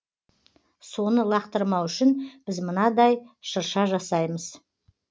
соны лақтырмау үшін біз мынандай шырша жасаймыз